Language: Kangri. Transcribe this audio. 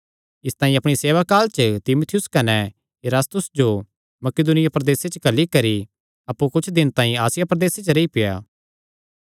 इसतांई अपणी सेवाकाल च तीमुथियुस कने इरास्तुस जो मकिदुनिया प्रदेसे च घल्ली करी अप्पु कुच्छ दिन तांई आसिया प्रदेसे च रेई पेआ